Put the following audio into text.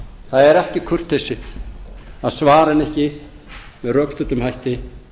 það er ekki kurteisi að svara henni ekki með rökstuddum hætti